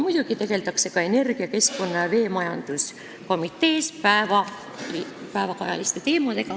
Muidugi tegeldakse päevakajaliste teemadega ka energia-, keskkonna- ja veemajanduskomitees.